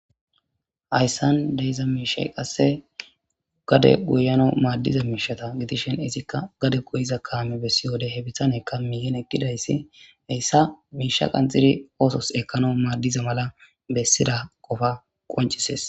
Hayisan diza mishay qase gade goyanaw madida mishe gidishin izika gade goyiza kame besewude izika he bitaneyka miyen eqidays hayisa misha qaxidi osos ekana mala qonicises